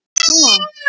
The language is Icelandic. Sölvi: Ha?